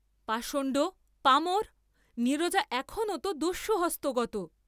পাষণ্ড, পামর, নীরজা এখনো ত দস্যুহস্তগত।